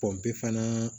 pepan